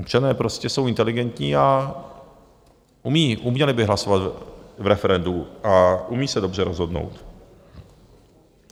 Občané prostě jsou inteligentní a uměli by hlasovat v referendu a umí se dobře rozhodnout.